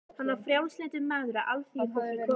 Hann var frjálslyndur maður af alþýðufólki kominn.